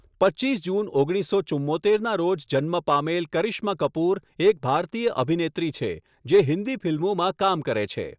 પચ્ચીસ જૂન ઓગણીસસો ચુંમોતેરના રોજ જન્મ પામેલ કરિશ્મા કપૂર એક ભારતીય અભિનેત્રી છે જે હિન્દી ફિલ્મોમાં કામ કરે છે.